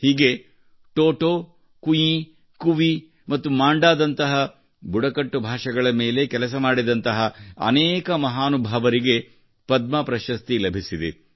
ಹೀಗೆ ಟೊಟೊ ಕುಇ ಕುವಿ ಮತ್ತು ಮಾಂಡಾದಂತಹ ಬುಡಕಟ್ಟು ಭಾಷೆಗಳ ಮೇಲೆ ಕೆಲಸ ಮಾಡಿದಂತಹ ಅನೇಕ ಮಹಾನುಭಾವರಿಗೆ ಪದ್ಮ ಪ್ರಶಸ್ತಿ ಲಭಿಸಿದೆ